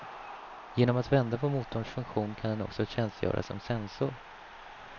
Genom att vända på motorns funktion kan den också tjänstgöra som sensor.